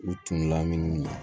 U tun laminiw na